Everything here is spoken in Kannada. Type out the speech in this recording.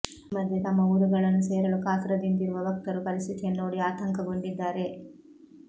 ಈ ಮಧ್ಯೆ ತಮ್ಮ ಊರುಗಳನ್ನು ಸೇರಲು ಕಾತುರದಿಂದಿರುವ ಭಕ್ತರು ಪರಸ್ಥಿತಿಯನ್ನು ನೋಡಿ ಆತಂಕಗೊಂಡಿದ್ದಾರೆ